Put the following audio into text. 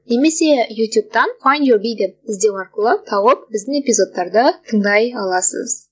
немесе ютубтан файнд ю би деп іздеу арқылы тауып біздің эпизодтарды тыңдай аласыз